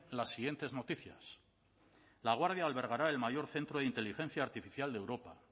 las siguientes noticias laguardia albergará el mayor centro de inteligencia artificial de europa